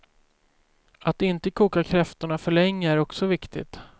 Att inte koka kräftorna för länge är också viktigt.